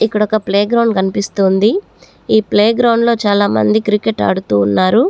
ఇక్కడొక playground కనిపిస్తోంది ఈ ప్లే గ్రౌండ్ లో చాలా మంది క్రికెట్ ఆడుతు ఉన్నారు.